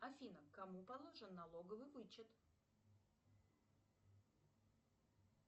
афина кому положен налоговый вычет